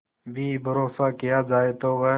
भी भरोसा किया जाए तो वह